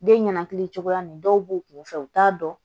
Den ɲɛnakili cogoya nin dɔw b'u kun fɛ u t'a dɔn